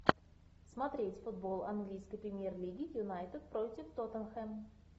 смотреть футбол английской премьер лиги юнайтед против тоттенхэм